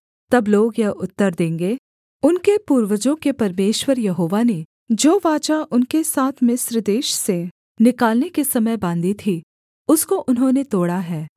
तब लोग यह उत्तर देंगे उनके पूर्वजों के परमेश्वर यहोवा ने जो वाचा उनके साथ मिस्र देश से निकालने के समय बाँधी थी उसको उन्होंने तोड़ा है